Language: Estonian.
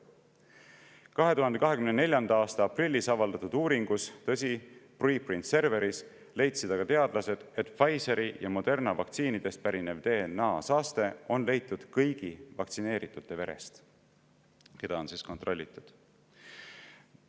2024. aasta aprillis avaldatud uuringus – tõsi, preprint server'is – leidsid aga teadlased, et Pfizeri ja Moderna vaktsiinidest pärinevat DNA-saastet on leitud kõigi vaktsineeritute verest, keda on kontrollitud.